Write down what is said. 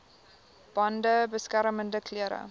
bande beskermende klere